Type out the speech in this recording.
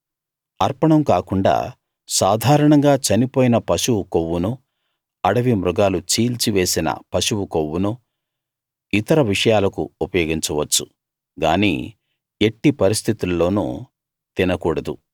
అర్పణం కాకుండా సాధారణంగా చనిపోయిన పశువు కొవ్వునూ అడవి మృగాలు చీల్చి వేసిన పశువు కొవ్వునూ ఇతర విషయాలకు ఉపయోగించవచ్చు గానీ ఎట్టి పరిస్థితుల్లోనూ తినకూడదు